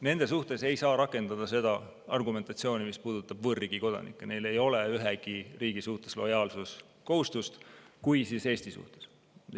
Nende suhtes ei saa rakendada seda argumentatsiooni, mis puudutab võõrriigi kodanikke, neil ei ole ühegi riigi suhtes lojaalsuskohustust, kui on, siis Eesti suhtes.